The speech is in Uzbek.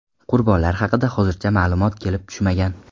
Qurbonlar haqida hozircha ma’lumot kelib tushmagan.